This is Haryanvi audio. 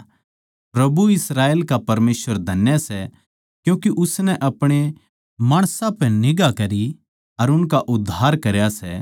प्रभु इस्राएल का परमेसवर धन्य सै क्यूँके उसनै अपणे माणसां पै निगांह करी अर उनका उद्धार करया सै